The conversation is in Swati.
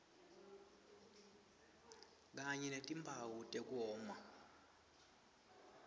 kanye netimphawu tekoma